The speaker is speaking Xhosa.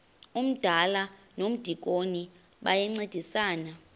umdala nomdikoni bayancedisana